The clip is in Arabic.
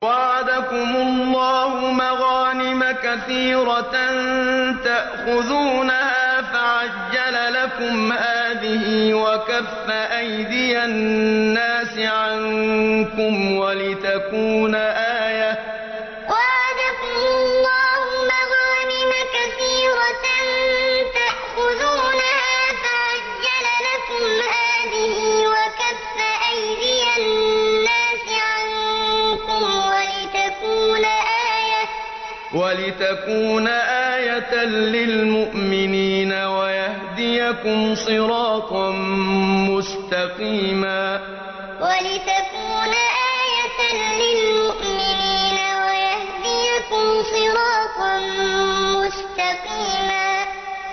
وَعَدَكُمُ اللَّهُ مَغَانِمَ كَثِيرَةً تَأْخُذُونَهَا فَعَجَّلَ لَكُمْ هَٰذِهِ وَكَفَّ أَيْدِيَ النَّاسِ عَنكُمْ وَلِتَكُونَ آيَةً لِّلْمُؤْمِنِينَ وَيَهْدِيَكُمْ صِرَاطًا مُّسْتَقِيمًا وَعَدَكُمُ اللَّهُ مَغَانِمَ كَثِيرَةً تَأْخُذُونَهَا فَعَجَّلَ لَكُمْ هَٰذِهِ وَكَفَّ أَيْدِيَ النَّاسِ عَنكُمْ وَلِتَكُونَ آيَةً لِّلْمُؤْمِنِينَ وَيَهْدِيَكُمْ صِرَاطًا مُّسْتَقِيمًا